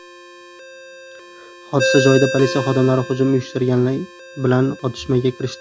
Hodisa joyida politsiya xodimlari hujum uyushtirganlar bilan otishmaga kirishdi.